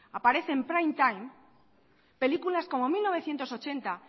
aparece en prime time películas como mil novecientos ochenta